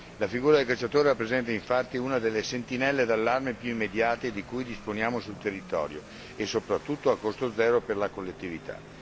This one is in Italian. La figura del cacciatore rappresenta, infatti, una delle sentinelle d'allarme più immediate di cui disponiamo sul territorio e, soprattutto, a costo zero per la collettività.